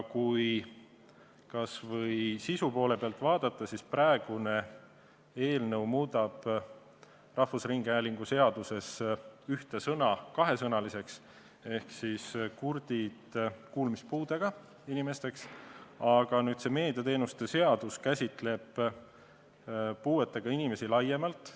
Kui sisu poole pealt vaadata, siis praegune eelnõu asendab Eesti Rahvusringhäälingu seaduses ühe sõna kahe sõnaga ehk "kurdid" asemel on "kuulmispuudega inimesed", aga meediateenuste seadus käsitleb puuetega inimesi laiemalt.